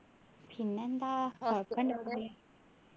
പിന്നെ എന്താ